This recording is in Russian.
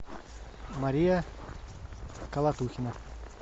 мария колотухина